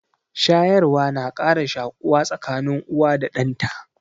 Shayarwa na ƙara shaƙuwa tsakanin uwa da ɗan ta.